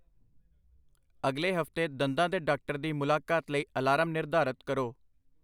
ਅਗਲੇ ਹਫ਼ਤੇ ਦੰਦਾਂ ਦੇ ਡਾਕਟਰ ਦੀ ਮੁਲਾਕਾਤ ਲਈ ਅਲਾਰਮ ਨਿਰਧਾਰਤ ਕਰੋ।